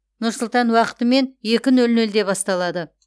нұр сұлтан уақытымен екі нөл нөлде басталады